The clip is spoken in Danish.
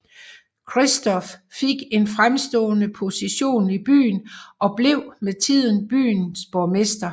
Christoph fik en fremstående position i byen og blev med tiden borgmester